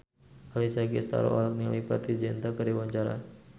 Alessia Cestaro olohok ningali Preity Zinta keur diwawancara